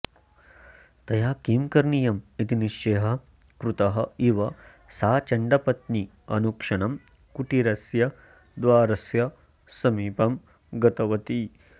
तया किं करणीयम् इति निश्चयः कृतः इव सा चण्डपत्नी अनुक्षणं कुटीरस्य द्वारस्य समीपम् गतवती